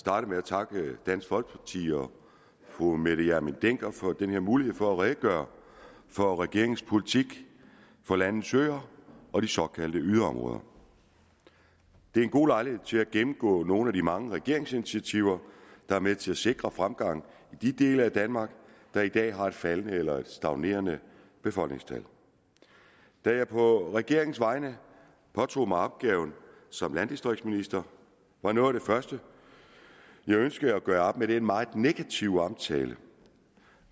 starte med at takke dansk folkeparti og fru mette hjermind dencker for denne mulighed for at redegøre for regeringens politik for landets øer og de såkaldte yderområder det er en god lejlighed til at gennemgå nogle af de mange regeringsinitiativer der er med til at sikre fremgang i de dele af danmark der i dag har et faldende eller stagnerende befolkningstal da jeg på regeringens vegne påtog mig opgaven som landdistriktsminister var noget af det første jeg ønskede at gøre op med den meget negative omtale